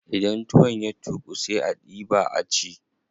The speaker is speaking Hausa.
Idan tuwon ya tuƙu sai a diɓa a ci.